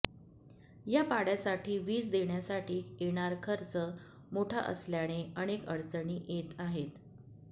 या पाड्यासाठी वीज देण्यासाठी येणार खर्च मोठा असल्याने अनेक अडचणी येत आहेत